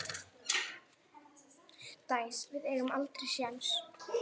Dæs, við eigum aldrei séns!